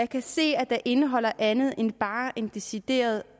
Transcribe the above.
kan se at den indeholder andet end bare en decideret